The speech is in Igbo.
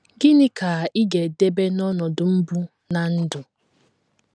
Gịnị ka ị ga - edebe n’ọnọdụ mbụ ná ndụ?